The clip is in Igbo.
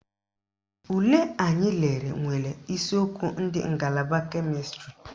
Ule anyị lelere nwere isiokwu ndị ngalaba kemịstrị